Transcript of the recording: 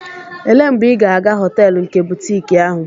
Elee mgbe ị ga-aga họteelu nke butiiki ahụ?